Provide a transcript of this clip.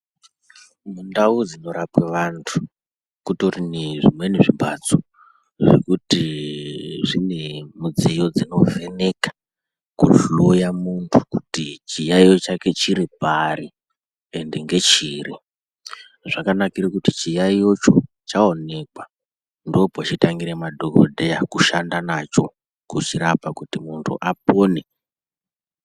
Ndau dzinorapwe vantu kutori nezvimweni zvimbatso zvekuti zvine midziyo dzinovheneka kuhloya muntu kuti chiyayiyo chake chiri pari ende ngechiri zvakanakira kuti chiyayicho chaonekwa ndopochitangire madhokodheya kushanda nacho kuchirapa kuti muntu apone.